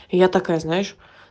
я такая знаешь